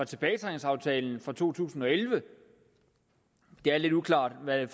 tilbagetrækningsaftalen fra 2011 det er lidt uklart hvad